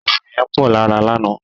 Àisàn yẹn pọ̀ lára lánàá.